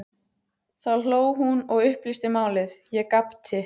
Þá hló hún og upplýsti málið, ég gapti.